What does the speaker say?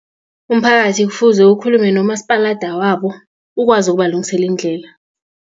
Umphakathi kufuze ukhulume nomasipalada wabo ukwazi ukubalungisela indlela.